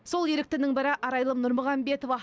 сол еріктінің бірі арайлым нұрмағамбетова